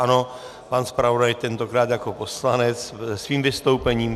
Ano, pan zpravodaj, tentokrát jako poslanec, se svým vystoupením.